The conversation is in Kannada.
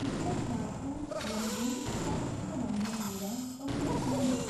ಇಪ್ಪತ್ನಾಲ್ಕು, ಒಂದು, ಸಾವಿರದ ಒಂಬೈನೂರ ತೊಂಬತ್ಮೂರು